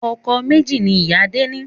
Ọkọ̀ méjì ni ìyá Adé ni